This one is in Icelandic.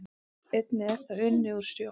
Einnig er það unnið úr sjó